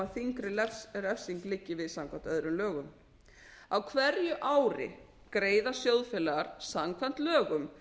nema þyngri refsing liggi við samkvæmt öðrum lögum á hverju ári greiða sjóðfélagar samkvæmt lögum